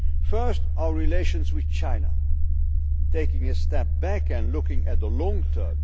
First, our relations with China taking a step back and looking at the long